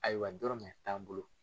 Ayiwa dɔrɔmɛ t'an bolo